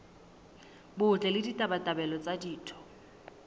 botle le ditabatabelo tsa ditho